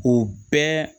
O bɛɛ